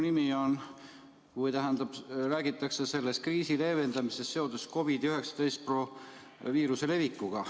Selles eelnõus räägitakse kriisi leevendamisest seoses COVID‑19 viiruse levikuga.